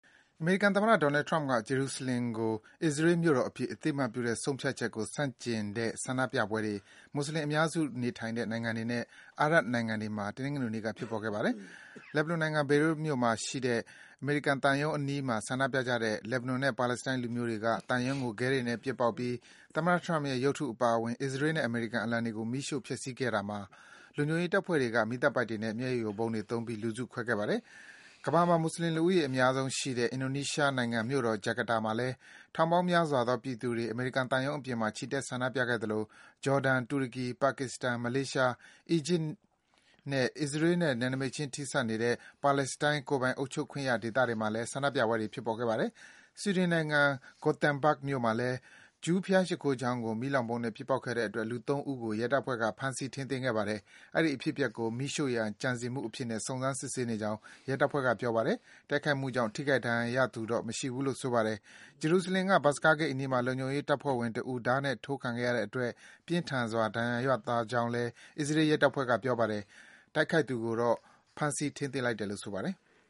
အမေရိကန်သမ္မတ Donald Trump က ဂျေရုဆလင်မ်ကို အစ္စရေးလ်နိုင်ငံရဲ့ မြို့တော်အဖြစ် အသိအမှတ်ပြုတဲ့ ဆုံးဖြတ်ချက်ကို ဆန့်ကျင်ကန့်ကွက်ပြီး မွတ်ဆလင်အများစုနေထိုင်တဲ့ နိုင်ငံတွေနဲ့ အာရပ်နိုင်ငံတွေမှာ တနင်္ဂနွေနေ့က ဆန္ဒပြကြပါတယ်။ လက်ဘနွန်နိုင်ငံ၊ ဘေရွတ်မြို့မှာရှိတဲ့ အမေရိကန်သံရုံးအနီးမှာ ဆန္ဒပြကြတဲ့ လက်ဘနွန်နဲ့ ပါလက်စတိုင်း လူမျိုးတွေက သံရုံးကို ခဲတွေနဲ့ ပစ်ပေါက်ပြီး သမ္မတ Trump ရဲ့ ရုပ်တုအပါအဝင် အစ္စရေးလ်နဲ့ အမေရိကန်အလံတွေကို မီးရှို့ ဖျက်ဆီးခဲ့ကြတာမှာ လုံခြုံရေးတပ်ဖွဲ့တွေက မီးသတ်ပိုက်တွေနဲ့ မျက်ရည်ယိုဗုံးတွေသုံးပြီး လူစုခွဲခဲ့ပါတယ်။ ကမ္ဘာမှာ မွတ်ဆလင် လူဦးရေအများဆုံးရှိတဲ့ အင်ဒိုနီးရှားနိုင်ငံ ဂျကာတာမြို့တော်မှာလည်း ထောင်ပေ့ါင်းများစွာသော ပြည်သူတွေ အမေရိကန်သံရုံးအပြင်မှာ ချီတက် ဆန္ဒပြကြသလို ဂျော်ဒန်၊ တူရကီ၊ ပါကစ္စတန်၊ မလေးရှား၊ အီဂျစ်နဲ့ အစ္စရေးလ်နဲ့ နယ်နိမိတ်ချင်း ထိစပ်နေတဲ့ ပါလက်စတိုင်း ကိုယ်ပိုင်အုပ်ချုပ်ခွင့်ရ ဒေသတွေမှာလည်း ဆန္ဒပြပွဲတွေ ဖြစ်ခဲ့ပါတယ်။ ဆွီဒင်နိုင်ငံ Gothenburg မြို့မှာလည်း ဂျူးဘုရားရှိခိုးကျောင်းကို မီးလောင်ဗုံးနဲ့ ပစ်ပေါက်ခဲ့တဲ့အတွက် လူ ၃ ဦးကို ရဲတပ်ဖွဲ့က ဖမ်းဆီး ထိန်းသိမ်းခဲ့ပါတယ်။ အဲဒီ အဖြစ်အပျက်ကို မီးရှို့ရန် ကြံစည်မှုအဖြစ်နဲ့ စုံစမ်း စစ်ဆေးနေကြောင်း ရဲတပ်ဖွဲ့က ပြောပါတယ်။ တိုက်ခိုက်မှုကြောင့် ထိခိုက် ဒဏ်ရာရသူတော့ မရှိဘူးလို့ ဆိုပါတယ်။ ဂျေရုဆလင်မ်မြို့က ဘတ်စကားဂိတ်အနီးမှာ လုံခြုံရေးတပ်ဖွဲ့ဝင်တဦး ဓားနဲ့အထိုးခံရတဲ့အတွက် ပြင်းထန်စွာ ဒဏ်ရာရသွားကြောင်း အစ္စရေးလ်ရဲတပ်ဖွဲ့က ပြောပါတယ်။ တိုက်ခိုက်သူကိုတော့ ဖမ်းဆီးလိုက်တယ်လို့ ဆိုပါတယ်။